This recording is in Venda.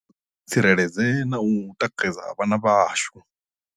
Kha ri tsireledze na u tikedza vhana vhashu.